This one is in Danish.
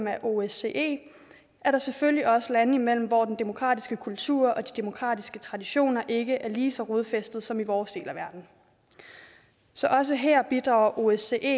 af osce er der selvfølgelig også lande imellem hvor den demokratiske kultur og de demokratiske traditioner ikke er lige så rodfæstede som i vores del af verden så også her bidrager osce